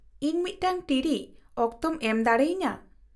-ᱤᱧ ᱢᱤᱫᱴᱟᱝ ᱴᱤᱲᱤᱡ ᱚᱠᱛᱚᱢ ᱮᱢ ᱫᱟᱲᱮᱭᱟᱹᱧᱟᱹ ?